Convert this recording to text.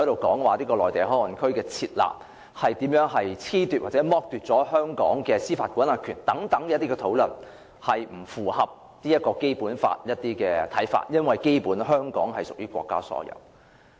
討論內地口岸區以租賃方式交予內地相關單位使用的安排，並不符合《基本法》規定，因為基本上香港屬國家所有。